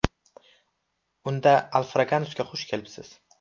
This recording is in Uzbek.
Unda, Alfraganus’ga xush kelibsiz!